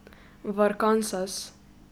V Arkansas.